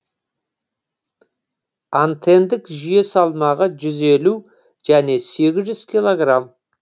антендік жүйе салмағы жүз елу және сегіз жүз килограмм